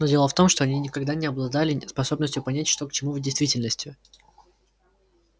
но дело в том что они никогда не обладали способностью понять что к чему в действительности